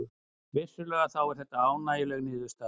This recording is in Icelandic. Vissulega þá er þetta ánægjuleg niðurstaða